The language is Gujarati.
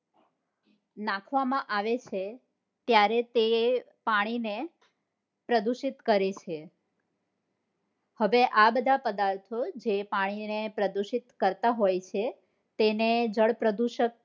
નાખવામાં આવે છે ત્યારે તે પાણી ને પ્રદુષિત કરે છે હવે આ બધા પદાર્થો જે પાણી ને પ્રદુષિત કરતા હોય છે તેને જળ પ્રદુષક